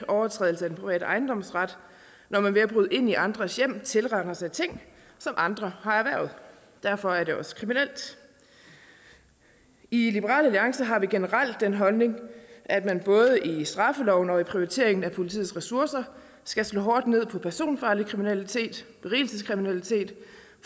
overtrædelse af den private ejendomsret når man ved at bryde ind i andres hjem tilraner sig ting som andre har erhvervet derfor er det også kriminelt i liberal alliance har vi generelt den holdning at man både i straffeloven og i prioriteringen af politiets ressourcer skal slå hårdt ned på personfarlig kriminalitet og berigelseskriminalitet